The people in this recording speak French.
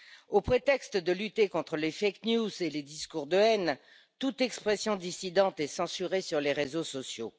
Au prétexte de lutter contre les fake news et les discours de haine, toute expression dissidente est censurée sur les réseaux sociaux.